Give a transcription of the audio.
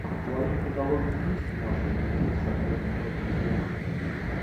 в твоем каталоге есть маша и медведь с актером мэттом дэймоном